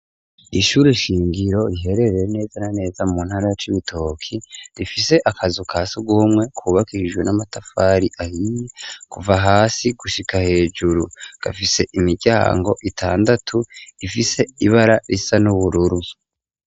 Ishure shingiro riherereye neza na neza mu ntara c'ibitoke rifise akazu kasi gumwe kubaka ijru n'amatafari ahiye kuva hasi gushika hejuru gafise imiryango itandatu ifise ibara risa n'ubururu.